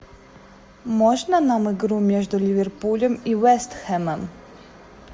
можно нам игру между ливерпулем и вест хэмом